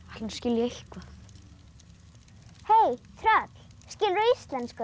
hún skilji eitthvað hei tröll skilurðu íslensku